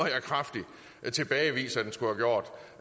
jeg kraftigt tilbagevise